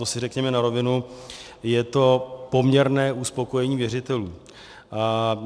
To si řekněme na rovinu, je to poměrné uspokojení věřitelů.